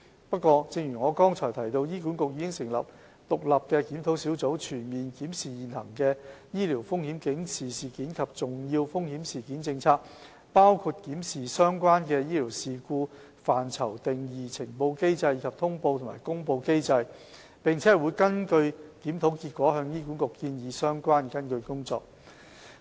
不過，正如我剛才提到，醫管局已成立獨立檢討小組，全面檢視現行的醫療風險警示事件及重要風險事件政策，包括檢視相關的醫療事故範疇及定義、呈報機制，以及通報和公布機制，並會根據檢討結果向醫管局建議相關的跟進工作。